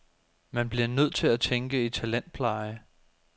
Man bliver nødt til at tænke i talentpleje.